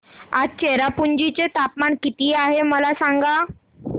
आज चेरापुंजी चे तापमान किती आहे मला सांगा